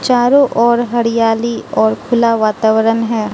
चारों ओर हरियाली और खुला वातावरण है।